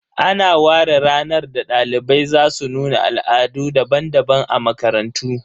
Ana ware ranar da dalibai za su nuna Al'adu daban-daban a makarantu